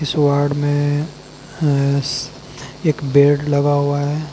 इस वार्ड में एक बेड लगा हुआ है।